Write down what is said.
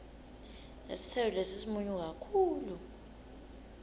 lesitselo lesi simunyu kakhulu